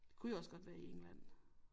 Kunne jo også godt være i England